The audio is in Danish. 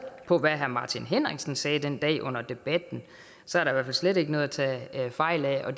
på hvad herre martin henriksen sagde den dag under debatten så er der i slet ikke noget at tage fejl af